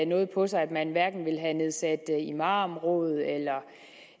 noget på sig at man ville have nedsat imamråd